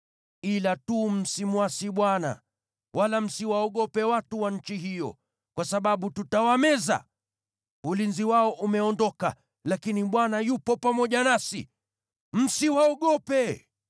Ila tu msimwasi Bwana . Wala msiwaogope watu wa nchi hiyo, kwa sababu tutawameza. Ulinzi wao umeondoka, lakini Bwana yupo pamoja nasi. Msiwaogope.”